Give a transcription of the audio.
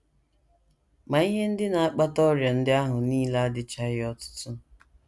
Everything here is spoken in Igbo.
Ma ihe ndị na - akpata ọrịa ndị ahụ nile adịchaghị ọtụtụ.